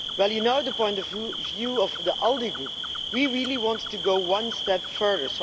Well, you know the point of view of the ALDE Group we really want to go one step further.